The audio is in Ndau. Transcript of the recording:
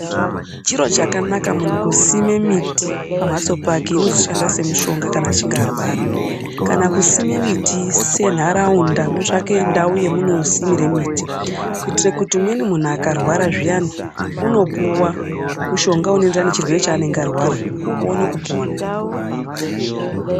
Chiro chakanaka munhu kusime miti pamhatso pake inozoshanda semishonga kana achinge arwara, kana kusime miti senharaunda motsvake ndau yamuno simire miti kuitire kuti umweni munhu akarwara zviyani unopuwa mushonga unoenderana nechirwere chaanenge arwara, oone kupona.